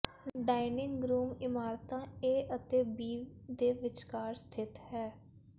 dining room ਇਮਾਰਤਾਂ A ਅਤੇ B ਦੇ ਵਿਚਕਾਰ ਸਥਿਤ ਹੈ